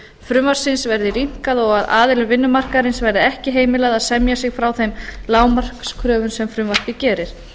frumvarpsins verði rýmkað og að aðilum vinnumarkaðarins verði ekki heimilað að semja sig frá þeim lágmarkskröfum sem frumvarpið gerir